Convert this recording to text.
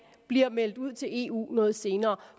bliver meldt ud til eu noget senere